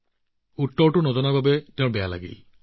তাৰ উত্তৰটো নাজানিলে তাৰ বৰ বেয়া লাগিল